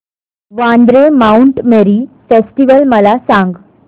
Vandre Mount Mary festival मला सांग